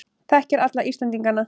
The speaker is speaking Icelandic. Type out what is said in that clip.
Þekkir alla Íslendingana.